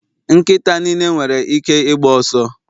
Nkịta niile nwere ike ịgba ọsọ